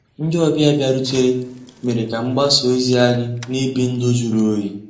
Ndị́ ọ̀bịá bìàrùtérè mérè ká mgbàsá òzí ànyị́ ná-èbí ndụ́ jụ̀rụ́ òyì.